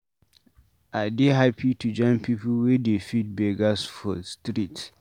I dey hapi to join pipu wey dey feed beggers for street.